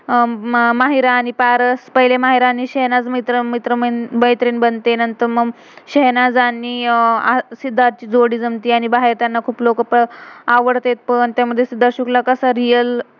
मेहर आणि पारस, पहिले मेहर आणि शेह्नाज़ मित्र~मित्र मैत्रिण बनते, नंतर मग शेह्नाज़ आणि अह सिद्धार्थ, ची जोड़ी जमते. आणि बाहेर त्यांना कुठ्ल कुठ आवडते पण. त्यामध्ये सिद्धार्थ शुक्ला कसा रियल real